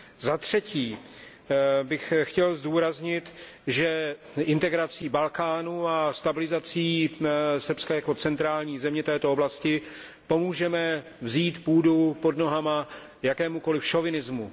Za třetí bych chtěl zdůraznit, že integrací Balkánu a stabilizací Srbska jako centrální země této oblasti pomůžeme vzít půdu pod nohama jakémukoliv šovinismu.